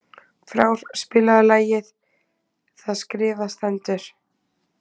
Frár, spilaðu lagið „Það skrifað stendur“.